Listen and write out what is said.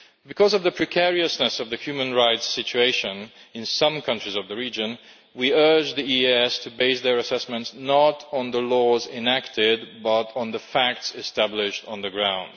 Because of the precariousness of the human rights situation in some countries of the region, we urge the EEAS to base their assessments not on the laws enacted but on the facts established on the ground.